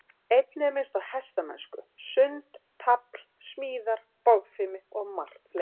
Einnig er minnst á hestamennsku, sund, tafl, smíðar, bogfimi og margt fleira.